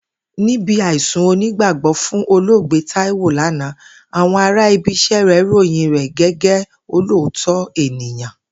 Níbi àìsùn onígbàgbó̩ fún olóògbé Táíwò lánàá, àwo̩n ara ibi is̩é̩ rè̩ ròyìn rè̩ gé̩gé̩ olóòótó̩ ènìyàn